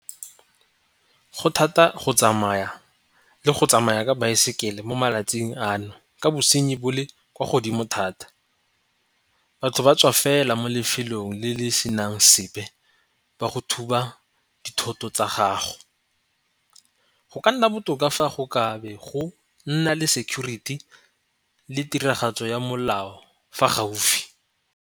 Go thata go tsamaya le go tsamaya ka baesekele mo malatsing ano ka bosenyi bo le kwa godimo thata. Batho ba tswa fela mo lefelong le le senang sepe ba go thoba dithoto tsa gago. Go ka nna botoka fa go kabe go nna le security le tiragatso ya molao fa gaufi.